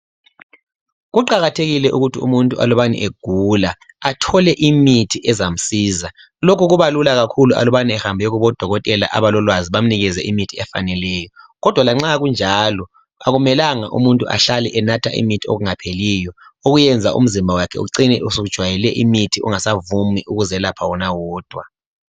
Kuqakathekile ukuthi umuntu alubani egula athole imithi ezamsiza lokhu kubalula kakhulu alubani ehambe kobodokotela abalolwazi bamnike imithi efaneleyo kodwa lanxa kunjalo akumelanga umuntu ahlale enatha imithi okungapheliyilo okwenza umzimba wakhe ucine usujwayele imithi ungasavumi ukuzelapha wona wodwa.